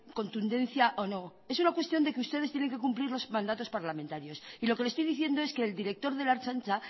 contundencia o no es una cuestión de que ustedes tienen que cumplir los mandatos parlamentarios y lo que le estoy diciendo es que el director de la ertzaintza